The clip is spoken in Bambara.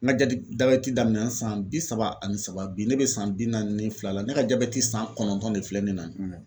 N ka jabɛti daminɛna san bi saba ani saba, bi ne bɛ san bi naani ni fila la ne ka jabɛti san kɔnɔntɔn ne filɛ ne na